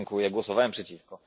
Głosowałem przeciwko.